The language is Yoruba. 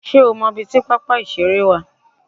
Sé o mo ibi tí pápá ìṣeré wà